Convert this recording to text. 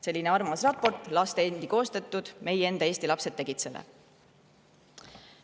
Selline armas raport, laste endi koostatud, meie enda Eesti lapsed tegid seda.